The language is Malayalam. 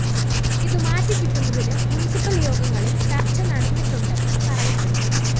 ഇത് മാറ്റിക്കിട്ടുന്നതിന് മുന്‍സിപ്പല്‍ യോഗങ്ങളില്‍ ചര്‍ച്ച നടന്നിട്ടുണ്ടെന്നും പറയപ്പെടുന്നു